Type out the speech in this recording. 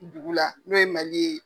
dugu la n'o ye Mali ye.